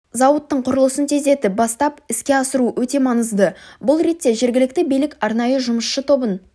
зауыттың құрылысын тездетіп бастап іске асыру өте маңызды бұл ретте жергілікті билік арнайы жұмысшы тобын